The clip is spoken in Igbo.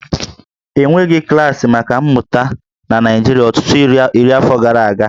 E nweghị klaasị maka mmụta na Naịjirịa ọtụtụ iri afọ gara aga